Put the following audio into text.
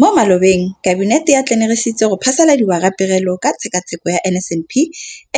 Mo malobeng Kabinete e atlenegisitse go phasaladiwa ga Pegelo ka Tshekatsheko ya NSNP